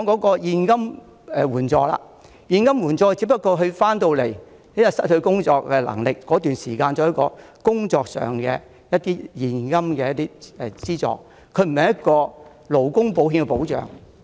至於剛才提及的現金援助，是指受保人回港後失去工作能力期間可享有的現金資助，這有別於勞工保險的保障。